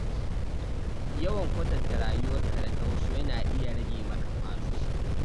Yawan kwatanta rayuwar ka da ta wasu yana iya rage maka ƙwazo.